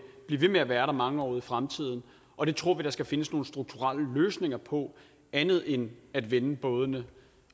blive ved med at være der mange år ud i fremtiden og det tror vi at der skal findes nogle strukturelle løsninger på andet end at vende bådene